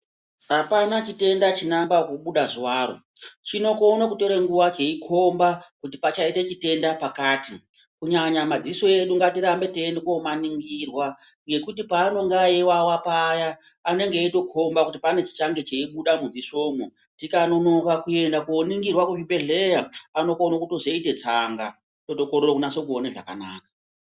Apana chitenda chinoamba kubuda zuwaro, chinokona kutora nguwa cheikhomba kuti pakaita chirwere pakati kunyanya madziso edu gatirambe teinoningirwa ngekuti paanenge eiwawa paya anenge eitokhomba kuti pane chichabuda mudzisomwo. Tikanonoka kooningirwa kuzvibhedhlera anokona kutozoita tsanga, tozokorera kuona zvakanaka.